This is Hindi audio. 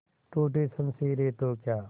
टूटी शमशीरें तो क्या